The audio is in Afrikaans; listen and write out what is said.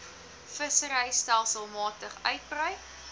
vissery stelselmatig uitbrei